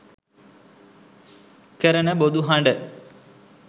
කරන බොදු හඬ